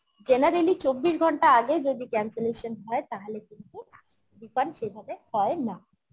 generally চব্বিশ ঘণ্টা আগে যদি cancelation হয় তাহলে কিন্তু refund সেভাবে হয় না